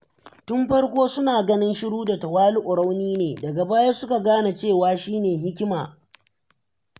Tun farko suna ganin shiru da tawali’u rauni ne, daga baya suka gane cewa shine hikima.